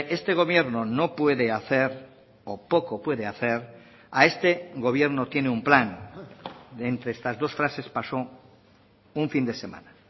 este gobierno no puede hacer o poco puede hacer a este gobierno tiene un plan de entre estas dos frases pasó un fin de semana